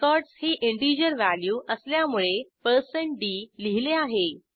records ही integer value असल्यामुळे d लिहिले आहे